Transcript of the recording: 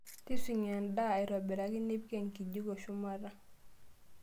Tipising'a endaa aitobiraki nipik enkijiko shumata.